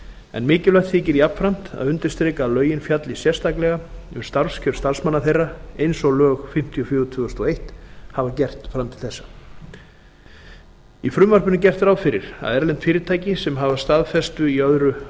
en mikilvægt þykir jafnframt að undirstrika að lögin fjalli sérstaklega um starfskjör starfsmanna þeirra eins og lög fimmtíu og fjögur tvö þúsund og eitt hafa gert fram til þessa í frumvarpinu er gert ráð fyrir að erlend fyrirtæki sem hafa staðfestu í